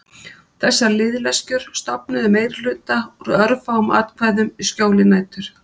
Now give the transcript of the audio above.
Þessar liðleskjur stofnuðu meirihluta úr örfáum atkvæðum í skjóli nætur.